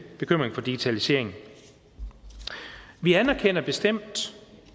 bekymring for digitaliseringen vi anerkender bestemt